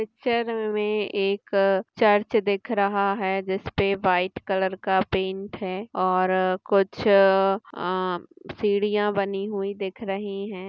Picture मे एक church दिख रहा है जिस पे व्हाइट कलर का पेंट है और कुछ अ सीढ़िया बनी हुई दिख रही है।